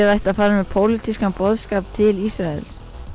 það ætti að fara með pólitískan boðskap til Ísraels